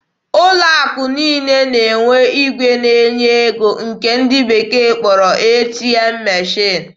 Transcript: Ụlọ akụ niile na-enwe igwe na-enye ego nke ndị bekee kpọrọ "ATM machine."